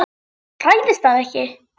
Hræðist hann ekki.